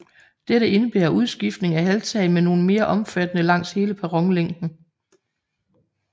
Dette indebærer udskiftning af halvtag med nogle mere omfattende langs hele perronlængden